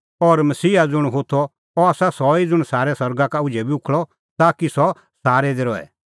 और मसीहा ज़ुंण होथअ अह आसा सह ई ज़ुंण सारै सरगा का उझै बी उखल़अ ताकि सह सारै दी रहे